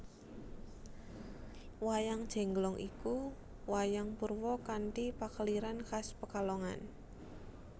Wayang Jengglong iku wayang purwa kanthi pakeliran khas Pekalongan